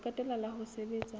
ho qetela la ho sebetsa